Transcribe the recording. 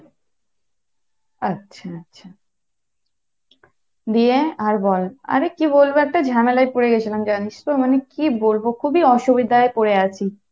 আচ্ছা আচ্ছা, গিয়ে আর বল আরে কী বলবো একটা ঝামেলায় পরে গিয়েছিলাম জানিস তো মানে কী বলবো খুব ই অসুবিধায় পরে আছি।